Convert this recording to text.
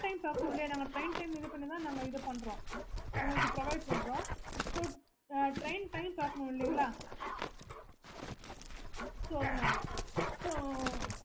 train time பாக்கணும் இல்லையா நாங்க train time பார்த்து தான் இது பண்றோம் உங்களுக்கு provide பண்றோம் train time பாக்கணும் இல்லையா so அதனால